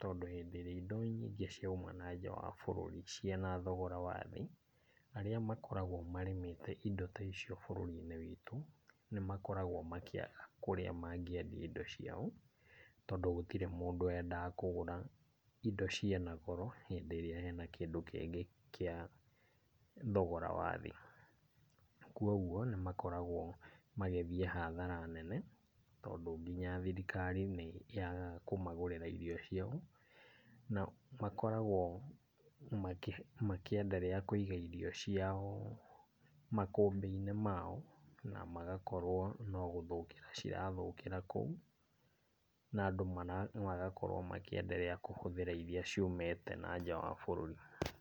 tondũ hĩndĩ ĩrĩa indo nyingĩ ciauma na nja wa bũrũri ciĩna togora wathĩ, arĩa makoragwo marĩmĩte indo ta icio bũrũri-inĩ witũ, nĩmakoragwo makĩaga kũrĩa mangĩendia indo ciao tondũ gũtirĩ mũndũ wendaga kũgũra indo ciĩna goro hĩndĩ ĩrĩa kwĩna kĩndũ kĩngĩ gĩa thogora wa thĩ. Koguo nĩ makoragwo magĩthiĩ hathara nene tondũ nginya thirirkari nĩ yagaga kũmagũrĩra indo ciao. Na makoragwo makĩenderea kũiga irio ciao makũmbĩ-inĩ mao na magakorwo no gũthũkĩra cirathũkĩra kũu, na andũ magakorwo makĩenderea kũhũthĩra iria ciumĩte na nja wa bũrũri.